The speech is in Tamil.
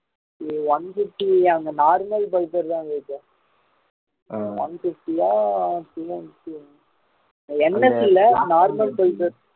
இது one sixty அந்த normal bike தான் இருக்கு one sixty ஆ NS இல்ல normal bike rate